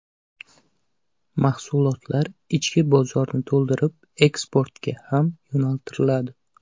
Mahsulotlar ichki bozorni to‘ldirib, eksportga ham yo‘naltiriladi.